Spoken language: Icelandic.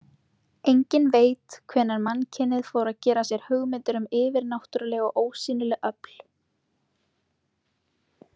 Enginn veit hvenær mannkynið fór að gera sér hugmyndir um yfirnáttúruleg og ósýnileg öfl.